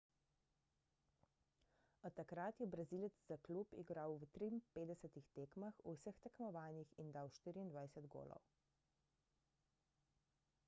od takrat je brazilec za klub igral v 53 tekmah v vseh tekmovanjih in dal 24 golov